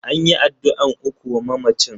An yi addu'an ukun wa mamacin.